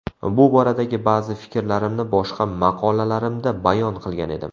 Bu boradagi ba’zi fikrlarimni boshqa maqolalarimda bayon qilgan edim .